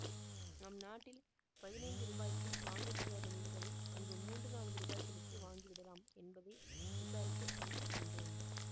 நம் நாட்டில் பதினைந்து ரூபாய்க்கும் வாங்க முடியாத நூல்களை அங்கு மூன்று நான்கு ரூபாய்களுக்கு வாங்கிவிடலாம் என்பதை விசாரித்து அறிந்து கொண்டோம்